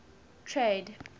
trade